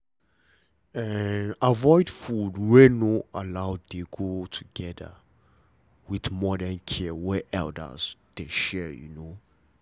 avoid food wey no allow dey go together with modern care wey elders dey share you know